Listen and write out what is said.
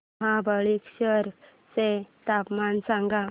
महाबळेश्वर चं तापमान सांग